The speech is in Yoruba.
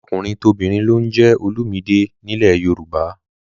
Tọkùnrintobìnrin ló ń jẹ́ Olumide nílẹ̀ Yorùbá